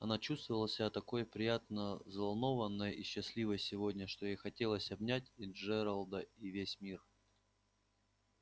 она чувствовала себя такой приятно взволнованной и счастливой сегодня что ей хотелось обнять и джералда и весь мир